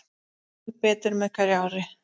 Æ betur með hverju ári.